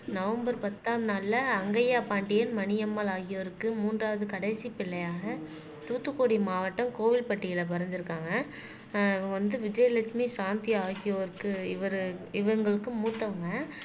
November பத்தாம் நாள்ல அங்கையா பாண்டியன் மணியம்மாள் ஆகியோருக்கு மூன்றாவது கடைசி பிள்ளையாக தூத்துக்குடி மாவட்டம் கோவில்பட்டியில பிறந்து இருக்காங்க ஆஹ் வந்து விஜயலட்சுமி சாந்தி ஆகியோருக்கு இவரு இவங்களுக்கு மூத்தவங்க